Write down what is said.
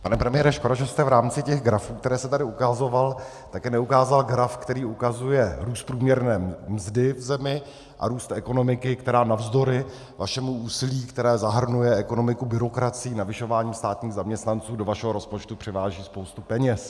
Pane premiére, škoda, že jste v rámci těch grafů, které jste tady ukazoval, taky neukázal graf, který ukazuje růst průměrné mzdy v zemi a růst ekonomiky, která navzdory vašemu úsilí, které zahrnuje ekonomiku byrokracií navyšováním státních zaměstnanců, do vašeho rozpočtu přiváží spoustu peněz.